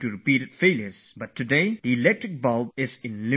But today that electric bulb illuminates our lives